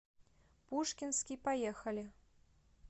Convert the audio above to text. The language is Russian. пушкинский поехали